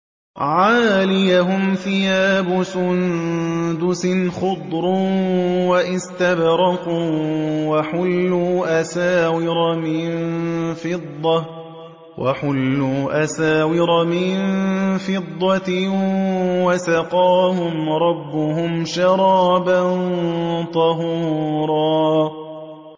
عَالِيَهُمْ ثِيَابُ سُندُسٍ خُضْرٌ وَإِسْتَبْرَقٌ ۖ وَحُلُّوا أَسَاوِرَ مِن فِضَّةٍ وَسَقَاهُمْ رَبُّهُمْ شَرَابًا طَهُورًا